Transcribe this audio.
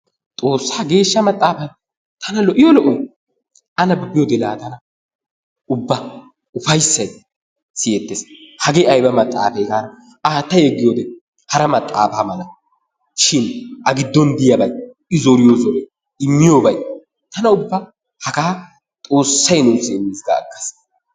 XOOSSAA geeshsha maxaafayi tana lo"iyo lo"oyi a nabbabiyode laa tana ubba ufayissayi siyettes. Hagee ayba maxaafe gaada aatta yeggiyode hara maxaafaa mala shin a giddon diyabayi i zoriyo zoroyi immiyobayi tana ubba hagaa XOOSSAYI nuussi immis ga aggas.